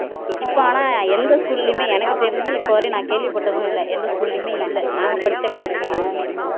இப்ப ஆனா எந்த school லயுமே எனக்கு தெரிஞ்சு இப்ப வரையும் நான் கேள்விப்பட்டதும் இல்லை எந்த school லயுமே இல்லை நாங்க படிச்சா காலத்துல இருந்துச்சு